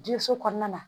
Denso kɔnɔna na